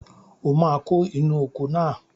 O máa kó inú oko náà